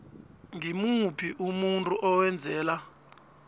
ngimuphi umuntu owenzela